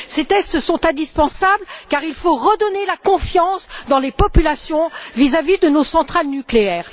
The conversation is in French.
Ces tests sont indispensables, car il faut redonner la confiance aux populations vis à vis de nos centrales nucléaires.